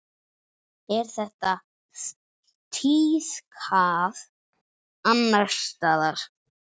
Er þetta tíðkað annars staðar?